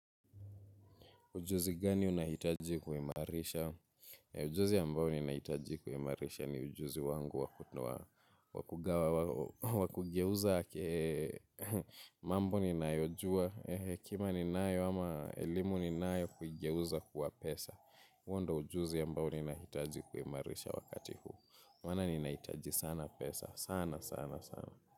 Ujuzi gani unahitaji kuimarisha? Ujuzi ambao ninahitaji kuimarisha ni ujuzi wangu wa kugawa, wa kugeuza, mambo ninayojua, hekima ninayo ama elimu ninayo kuigeuza kuwa pesa, huo ndio ujuzi ambao ninahitaji kuimarisha wakati huu. Maana ninahitaji sana pesa, sana sana sana.